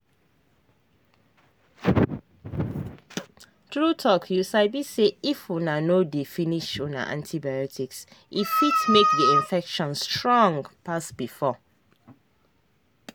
true talkyou sabi say if una no dey finish una antibiotics e fit make the infection strong pass before.